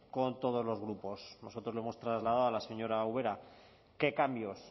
con todos los grupos nosotros lo hemos trasladado a la señora ubera qué cambios